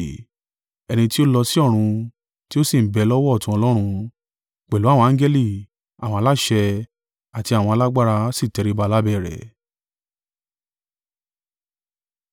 Ẹni tí ó lọ sí ọ̀run, tí ó sì ń bẹ lọ́wọ́ ọ̀tún Ọlọ́run: pẹ̀lú àwọn angẹli, àwọn aláṣẹ, àti àwọn alágbára sì tẹríba lábẹ́ rẹ̀.